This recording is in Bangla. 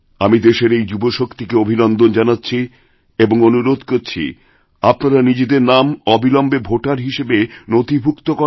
আমি দেশের এই যুবশক্তিকে অভিনন্দন জানাচ্ছি এবং অনুরোধ করছি আপনারা নিজেদের নামঅবিলম্বে ভোটার হিসেবে নথিভূক্ত করান